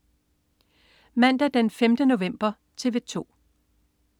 Mandag den 5. november - TV 2: